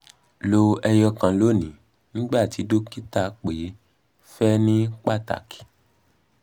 lo eyokan loni nigba ti dokita pe fe ni pataki